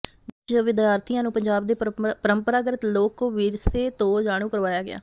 ਜਿਸ ਵਿਚ ਵਿਦਿਆਰਥੀਆਂ ਨੂੰ ਪੰਜਾਬ ਦੇ ਪਰੰਪਰਾਗਤ ਲੋਕ ਵਿਰਸੇ ਤੋਂ ਜਾਣੂ ਕਰਵਾਇਆ ਗਿਆ